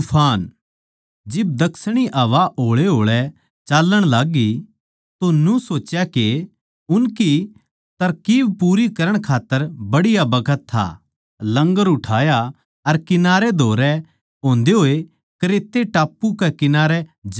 जिब दक्षिणी हवा होळेहोळे चाल्लण लाग्गी तो न्यू सोच्या के उनकी तरकीब पूरी करण खात्तर बढ़िया बखत था लंगर उठाया अर कंठारा धरे होए क्रेते टापू कै कंठारे जाण लाग्गे